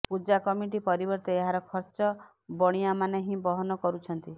ପୂଜା committee ପରିବର୍ତ୍ତେ ଏହାର ଖର୍ଚ୍ଚ ବଣିଆମାନେ ହିଁ ବହନ କରୁଛନ୍ତି